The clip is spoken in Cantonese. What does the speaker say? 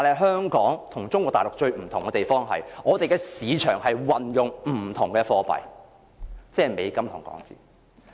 香港與中國大陸最不同之處，在於我們的市場運用不同的貨幣，即是美金與港元。